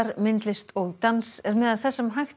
myndlist og dans er meðal þess sem hægt